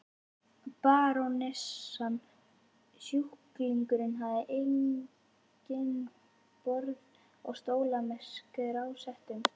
Barónessan og sjúklingurinn hafa einnig borð og stóla með strásetum.